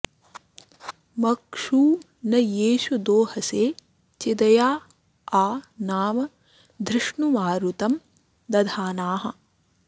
म॒क्षू न येषु॑ दो॒हसे॑ चिद॒या आ नाम॑ धृ॒ष्णु मारु॑तं॒ दधा॑नाः